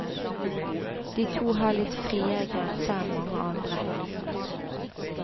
De to har litt friere grenser enn mange andre.